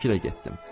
Fikrə getdim.